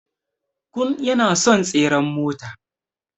Kun yana son tseren mota.